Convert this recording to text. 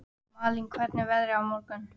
Malín, hvernig er veðrið á morgun?